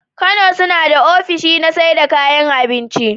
Kano sunada ofishi na saida kayan abinki